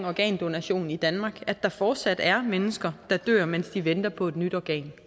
organdonation i danmark kan at der fortsat er mennesker der dør mens de venter på et nyt organ